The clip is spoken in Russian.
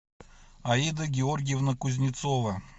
аида георгиевна кузнецова